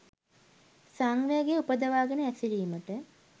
සංවේගය උපදවා ගෙන හැසිරීමට